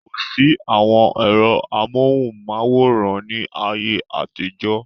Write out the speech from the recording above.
Kosi àwọn ẹ̀rọ amohùn-máwórán ni ayé àtijọ́